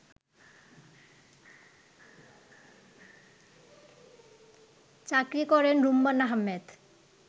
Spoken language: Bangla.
চাকুরী করেন রুম্মান আহমেদ